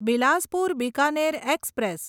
Bilaspur Bikaner express